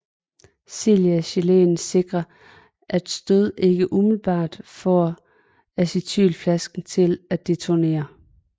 Silicagelen sikrer at stød ikke umiddelbart får en acetylenflaske til at detonere